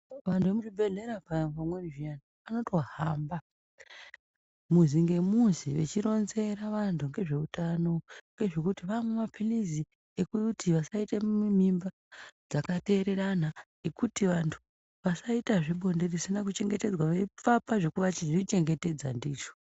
Vantu vemuzvibhedhlera nguva dzimweni zviya vanombohamba muzi ngumuzi vachironzera vantu nezvehutano zvekuti vamwe mapirizi zvekuti vasaita mimba zvakatererana zvekuti vantu vasaita zvebonde risina kuchengetedzwa veivapa zvekuzvi chengetedza ndicho.